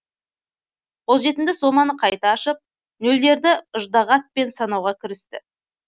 қолжетімді соманы қайта ашып нөлдерді ыждағатпен санауға кірісті